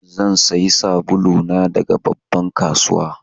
Zan sayi sabulu na daga babban kasuwa.